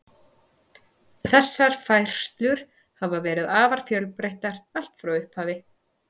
Þessar færslur hafa verið afar fjölbreyttar allt frá upphafi.